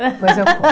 Depois eu conto.